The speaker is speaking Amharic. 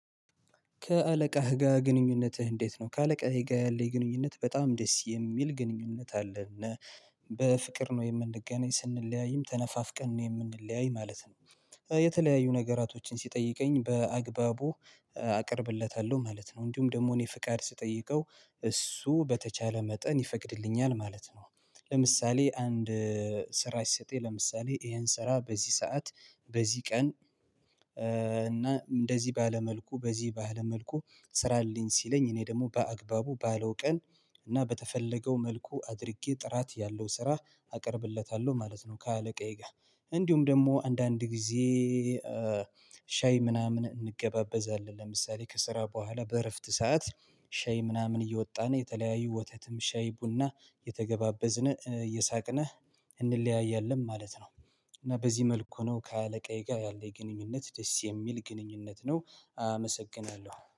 ከአለቃህ ጋር ግንኙነትህ እንዴት ነው? ከአለቃየ ጋር ያለኝ ግንኙነት በጣም ደስ የሚል ግንኙነት አለና በፍቅር ነው የምንገናኝ ስንለያይም ተነፋፍቀን ነው የምንለያይ ማለት ነው። የተለያዩ ነገራቶችን ሲጠይቀኝ በአግባቡ አቅርብለታለሁ ማለት ነው እንዲሁም ደግሞ እኔ ፍቃድ ስጠይቀው እሱ በተቻለ መጠን ይፈቅድልኛል ማለት ነው። ለምሳሌ አንድ ስራ ይሰጠኝ ለምሳሌ ይሄን ስራ በዚህ ሰዓት በዚህ ቀን እና እንደዚህ ባለ መልኩ በዚህ ባለ መልኩ ስራልኝ ሲለኝ እኔ ደግሞ በአግባቡ ባለው ቀን እና በተፈለገው መልኩ አድርጌ ጥራት ያለው ስራ አቀርብለታለሁ ማለት ነው። ከአለቃዬ ጋር እንዲሁም ደግሞ አንዳንድ ጊዜ ሻይ ምናምን እንገባበዛለን ለምሳሌ ከስራ በኋላ በእረፍት ሰዓት ሻይ ምናምን እየወጣን የተለያዩ ወተትም ሻይ ቡና እየተገባበዝነ እሳቅነ እንለያያለን ማለት ነው። እና በዚህ መልኩ ነው ከአለቃዬ ጋር ያለኝ ግንኙነት ደስ የሚል ግንኙነት ነው። አመሰግናለሁ